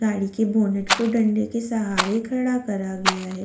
गाड़ी के बोनेट को डंडे के सहारे खड़ा करा गया है।